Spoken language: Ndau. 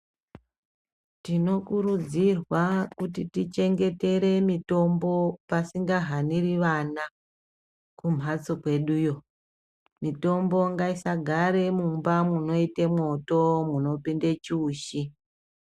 Tino kurudzirwa kuti tichengetere mitombo pasinga haniri vana kumhatso kweduyo mitombo ngaisa gare mumba munoita mwoto muno pinde chiutsi.